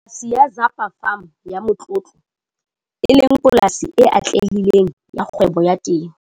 Polasi ya Zapa Farm ya motlotlo, e leng polasi e atlehileng ya kgwebo ya temo.